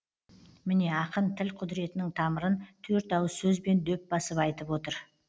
міне ақын тіл құдіретінің тамырын төрт ауыз сөзбен дөп басып айтып тұр